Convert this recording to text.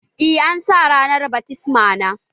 Eh, an sa ranar bat mitzbah na